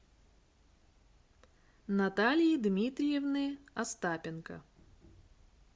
натальи дмитриевны остапенко